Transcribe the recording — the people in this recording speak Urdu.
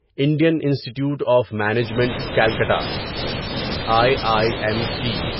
Indian Institute of Management Calcutta I I M C